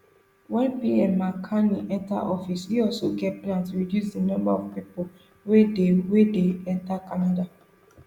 wen pm mark carney enta office e also get plan to reduce di number of pipo wey dey wey dey enta canada